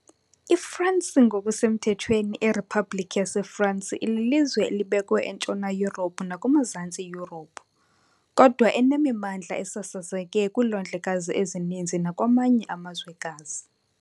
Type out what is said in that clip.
IFransi ngokusemthethweni iRiphabhlikhi yaseFransi lilizwe elibekwe eNtshona Yurophu nakumaZantsi Yurophu, kodwa enemimandla esasazeke kwiilwandlekazi ezininzi nakwamanye amazwekazi.